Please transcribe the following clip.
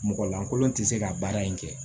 Mɔgɔ lankolon tɛ se ka baara in kɛ